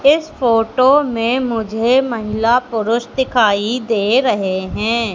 इस फोटो में मुझे महिला पुरुष दिखाई दे रहे हैं।